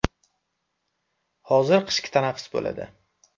Hozir qishki tanaffus bo‘ladi.